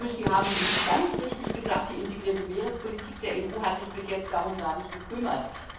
Frau Gomes, Sie haben nicht ganz richtig gesagt, die integrierte Meerespolitik der EU habe sich bis jetzt darum gar nicht gekümmert.